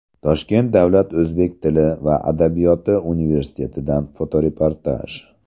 Toshkent davlat o‘zbek tili va adabiyoti universitetidan fotoreportaj.